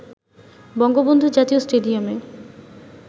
বঙ্গবন্ধু জাতীয় স্টেডিয়ামে